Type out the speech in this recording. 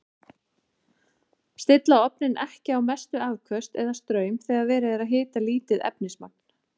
Stilla ofninn ekki á mestu afköst eða straum þegar verið er að hita lítið efnismagn.